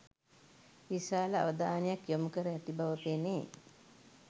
විශාල අවධානයක් යොමුකර ඇති බව පෙනේ.